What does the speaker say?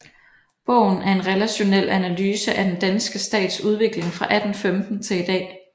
Bogen er en relationel analyse af den danske stats udvikling fra 1815 til i dag